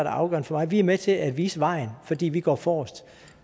afgørende for mig vi er med til at vise vejen fordi vi går forrest